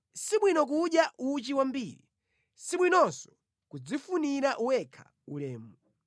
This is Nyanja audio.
Sibwino kudya uchi wambiri, sibwinonso kudzifunira wekha ulemu.